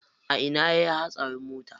A ina yayi hatsarin mota?